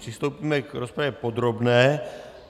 Přistoupíme k rozpravě podrobné.